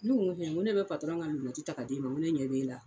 Nuro be ŋo ne bɛ ŋa lunɛti ta k'a d'e ma ŋo ne ɲɛ b'e la